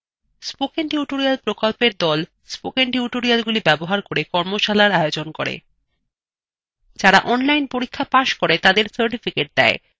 কথ্য tutorial প্রকল্পর the